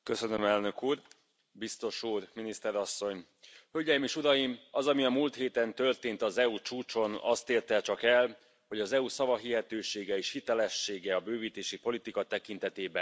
Biztos úr, Miniszter asszony, Hölgyeim és Uraim! Az, ami a múlt héten történt az EU csúcson azt érte csak el, hogy az EU szavahihetősége és hitelessége a bővítési politika tekintetében lenullázódott.